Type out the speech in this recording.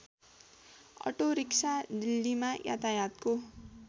auto rickshaw दिल्लीमा यातायातको